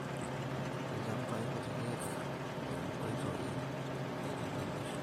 Ilchambai kutitik ooenkoitoi naitengenisho